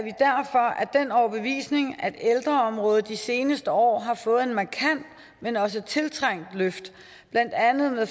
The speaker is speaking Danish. den overbevisning at ældreområdet de seneste år har fået et markant men også tiltrængt løft blandt andet med